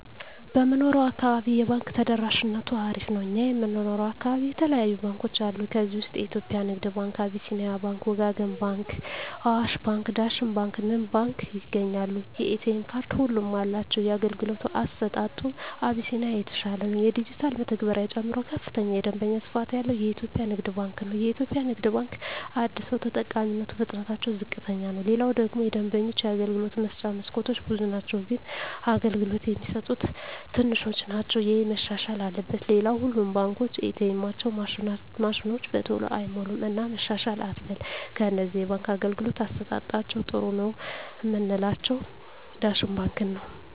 በምንኖረው አካባቢ የባንክ ተደራሽነቱ አሪፍ ነው እኛ የምንኖረው አካባቢ የተለያዩ ባንኮች አሉ ከዚህ ውስጥ የኢትዮጵያ ንግድ ባንክ አቢስኒያ ባንክ ወጋገን ባንክ አዋሽ ባንክ ዳሽን ባንክ ንብ ባንክ ይገኛሉ የኤ.ቴ ካርድ ሁሉም አላቸው የአገልግሎቱ አሰጣጡ አቢስኒያ የተሻለ ነው የዲጅታል መተግበሪያ ጨምሮ ከፍተኛ የደንበኛ ስፋት ያለው ኢትዮጵያ ንግድ ባንክ ነው የኢትዮጵያ ንግድ ባንክ አደሰው ተጠቃሚነቱ ፍጥነትታቸው ዝቅተኛ ነው ሌላው ደግሞ የደንበኞች የአገልግሎት መስጫ መስኮቶች ብዙ ናቸው ግን አገልግሎት የሚሰጡት ትንሾች ናቸው እሄ መሻሻል አለበት ሌላው ሁሉም ባንኮች ኤ. ቴኤማቸው ማሽኖች በተሎ አይሞሉም እና መሻሻል አትበል ከነዚህ የባንክ አገልግሎት አሠጣጣቸዉ ጥሩ ነው ምላቸውን ዳሽን ባንክን ነዉ